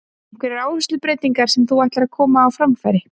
Einhverjar áherslubreytingar sem þú ætlar að koma á framfæri?